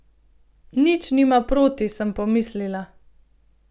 Nič nima proti, sem pomislila.